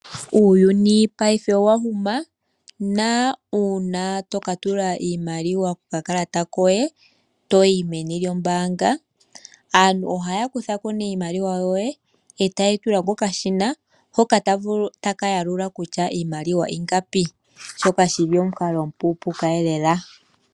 Uuyuni paife owahuma , na uuna tokatula iimaliwa kokalata koye toyi meni lyombaanga aantu ohaya kuthako nee iimaliwa yoye eta yeyi tula kokashina hoka taka yalula kutya iimaliwa ingapi shoka shili omukalo omupupuuka lela